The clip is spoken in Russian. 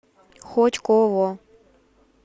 хотьково